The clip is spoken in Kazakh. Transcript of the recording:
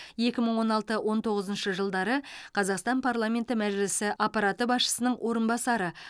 екі мың он алты он тоғызыншы жылдары қазақстан парламенті мәжілісі аппараты басшысының орынбасары